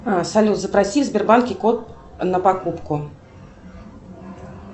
салют запроси в сбербанке код на покупку